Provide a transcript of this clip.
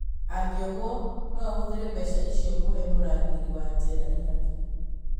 Angĩohwo no ahũthĩre mbeca icio kũhe mũrangĩri wa njera ihaki